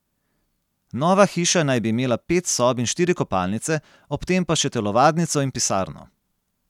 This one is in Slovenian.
Nova hiša naj bi imela pet sob in štiri kopalnice, ob tem pa še telovadnico in pisarno.